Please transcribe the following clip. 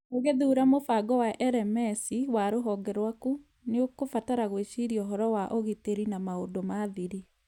Ũgĩthuura mũbango wa LMS wa rũhonge rwaku, nĩ ũkũbatara gwĩciria ũhoro wa ũgitĩri na maũndũ ma thiri